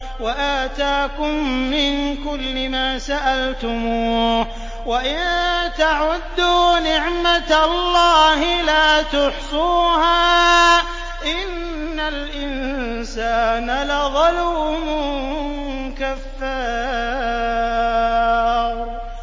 وَآتَاكُم مِّن كُلِّ مَا سَأَلْتُمُوهُ ۚ وَإِن تَعُدُّوا نِعْمَتَ اللَّهِ لَا تُحْصُوهَا ۗ إِنَّ الْإِنسَانَ لَظَلُومٌ كَفَّارٌ